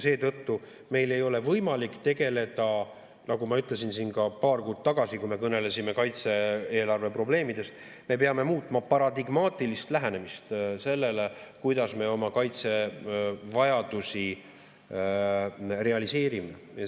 Seetõttu, nagu ma ütlesin siin ka paar kuud tagasi, kui me kõnelesime kaitse-eelarve probleemidest, me peame muutma paradigmaatilist lähenemist sellele, kuidas me oma kaitsevajadusi realiseerime.